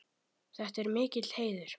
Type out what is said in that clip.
Þetta er mikill heiður.